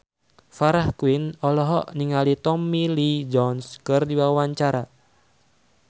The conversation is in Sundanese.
Farah Quinn olohok ningali Tommy Lee Jones keur diwawancara